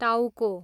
टाउको